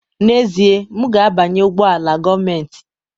N'ezie, m ga-abanye ụgbọ ala gọọmentị